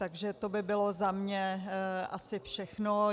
Takže to by bylo za mě asi všechno.